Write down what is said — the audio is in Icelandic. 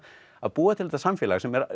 að búa til þetta samfélag sem